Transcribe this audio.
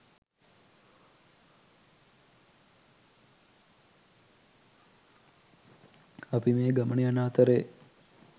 අපි මේ ගමන යන අතරේ